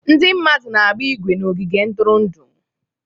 Ndị mmadụ na-agba ígwè na ogige ntụrụndụ.